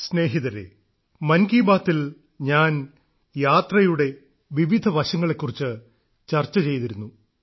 സ്നേഹിതരേ മൻ കീ ബാത്തിൽ ഞാൻ യാത്രയുടെ വിവിധ വശങ്ങളെക്കുറിച്ച് ചർച്ച ചെയ്തിരുന്നു